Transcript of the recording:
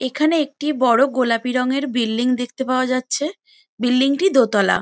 এখানে একটি বড়ো গোলাপি রঙের বিল্ডিং দেখতে পাওয়া যাচ্ছে বিল্ডিং টি দোতলা।